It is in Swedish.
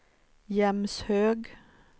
Jämshög